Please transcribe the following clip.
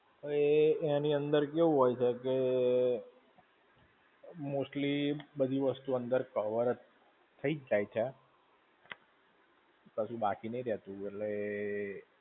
હવે એ, એની અંદર કેવું હોય છે કે, mostly બધી વસ્તુ અંદર cover જ થઇ જ જાય છે. પછી બાકી નહિ રહેતું એટલે એ.